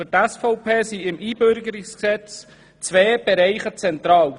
Für die SVP sind im Einbürgerungsgesetz zwei Bereiche zentral.